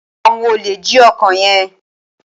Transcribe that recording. awón olè jí ọkọ yén.